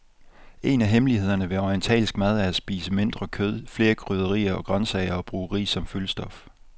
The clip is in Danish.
En af hemmelighederne ved orientalsk mad er spise mindre kød, flere krydderier og grøntsager og bruge ris som fyldstof.